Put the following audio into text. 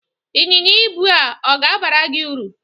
Ịnyịnya ibu a ọ ga-abara gị ụrụ?